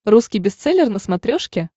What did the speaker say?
русский бестселлер на смотрешке